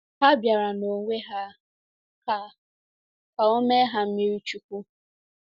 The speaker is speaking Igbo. Ha bịara nonwe ha ka ka o mee ha mmiri chukwu.